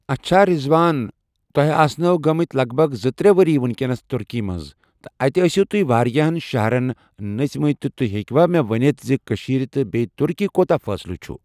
اچھا رضوان تُہۍ آسہِ نَو گمتۍ لگ بگ زٕ ترٚے ؤری ونکس ترکی منز تہٕ اتہِ ٲسو تُہۍ واریاہن شہرن نژۍمٕتۍ تہِ تُہۍ ہیکوا مےٚ وٕنتھ کشیٖر تہٕ بیٚیہِ ترکی کوٗتاہ فأصلہ چھُ